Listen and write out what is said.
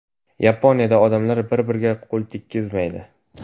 Yaponiyada odamlar bir-biriga qo‘l tekkizmaydi .